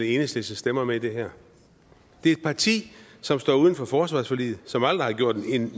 enhedslistens stemmer med i det her det er et parti som står uden for forsvarsforliget og som aldrig har gjort